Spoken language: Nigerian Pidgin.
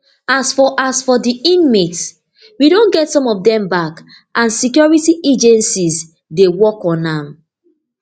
as for as for di inmates we don get some of dem back and security agencies dey work on am